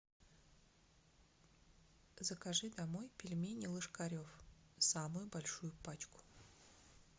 закажи домой пельмени ложкарев самую большую пачку